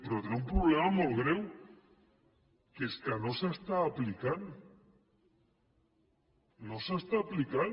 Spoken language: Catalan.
però té un problema molt greu que és que no s’està aplicant no s’està aplicant